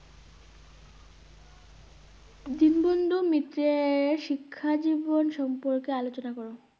দীনবন্ধু মিত্রে এর শিক্ষা জীবন সম্পর্কে আলোচনা করো।